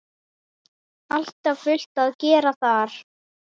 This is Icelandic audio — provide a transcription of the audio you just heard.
Alltaf fullt að gera þar!